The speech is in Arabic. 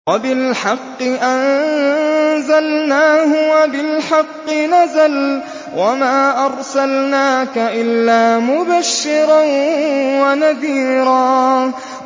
وَبِالْحَقِّ أَنزَلْنَاهُ وَبِالْحَقِّ نَزَلَ ۗ وَمَا أَرْسَلْنَاكَ إِلَّا مُبَشِّرًا وَنَذِيرًا